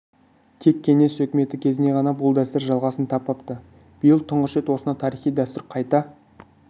тек кеңес үкіметі кезінде ғана бұл дәстүр жалғасын таппапты биыл тұңғыш рет осынау тарихи дәстүр қайта